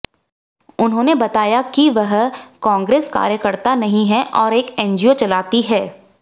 उन्होंने बताया की वह कांग्रेस कार्यकर्ता नहीं है और एक एनजीओ चलाती है